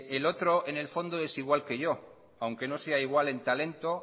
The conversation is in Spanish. el otro en el fondo es igual que yo aunque no sea igual en talento